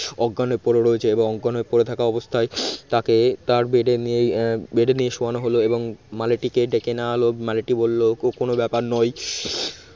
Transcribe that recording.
অজ্ঞান হয়ে পড়ে রয়েছে এবং অজ্ঞান হয়ে পড়ে থাকা অবস্থায় তাকে তার bed নিয়ে bed নিয়ে শোয়ানো হলো এবং মালিটিকে ডেকে নেওয়া হল মালিটি বলল ও কোন ব্যাপার নয়।